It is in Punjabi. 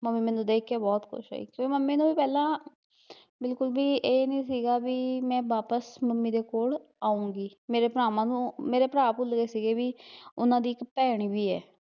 ਮੰਮੀ ਮੈਨੂੰ ਦੇਖ ਕੇ ਬਹੁਤ ਖੁਸ਼ ਹੋਈ ਫਿਰ ਮੰਮੀ ਨੂੰ ਵੀ ਪਹਿਲਾਂ ਬਿਲਕੁਲ ਵੀ ਏਹ ਨੀ ਸੀਗਾ ਵੀ ਮੈਂ ਵਾਪਿਸ ਮੰਮੀ ਦੇ ਕੋਲ, ਆਊਗੀ, ਮੇਰੇ ਭਰਾਵਾਂ ਨੂੰ ਮੇਰੇ ਭਰਾ ਭੁੱਲਗੇ ਸੀ ਵੀ, ਉਹਨਾਂ ਦੀ ਇੱਕ ਭੈਣ ਵੀ ਐ